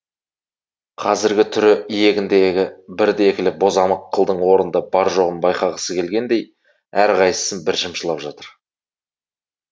қазіргі түрі иегіндегі бірді екілі бозамық қылдың орнында бар жоғын байқағысы келгендей әр қайсысын бір шымшылап жатыр